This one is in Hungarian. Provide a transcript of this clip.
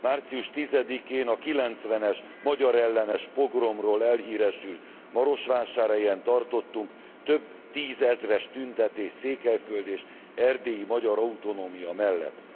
Március 10 én a 90 es magyarellenes pogromról elhíresült Marosvásárhelyen tartottunk több tízezres tüntetést Székelyföld és erdélyi magyar autonómia mellett.